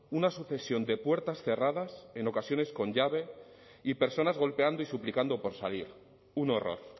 una sucesión de puertas cerradas en ocasiones con llave y personas golpeando y suplicando por salir un horror